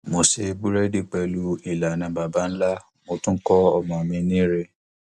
mo ṣe búrédì pẹlú ìlànà baba ńlá mo tún kọ ọmọ mi ní rẹ